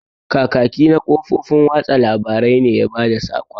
Kakaki na kafofin watsa labarai ne ya bada sakon.